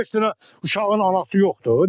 O beş dənə uşağın anası yoxdur?